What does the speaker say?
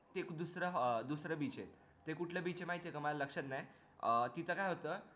ते दुसरं अह beach हे ते कुठले beach आहे माहित हे का माझ्या लक्ष्यात नाय अह तिथं काय होत